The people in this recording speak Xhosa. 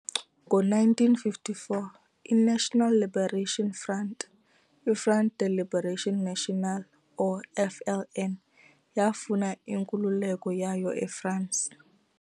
Ngo-1954, I-National Liberation Front, Front de Libération Nationale or FLN, yaafuna inkululeko yayo e-France.